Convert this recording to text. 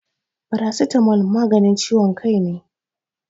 Farasitamol maganin ciwon kai ne.